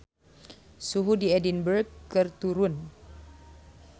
Suhu di Edinburg keur turun